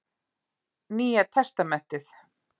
Nýja testamentið.